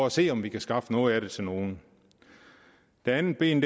at se om vi kan skaffe noget af det til nogle det andet ben